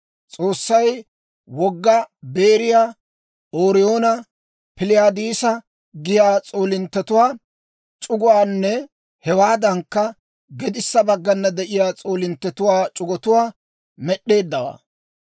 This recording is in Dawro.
S'oossay Wogga Beeriyaa, Ooriyoona, Piliyaadisa giyaa s'oolinttetuwaa c'uguwaanne hewaadankka gedissa baggana de'iyaa s'oolinttetuwaa c'ugotuwaa med'd'eeddawaa.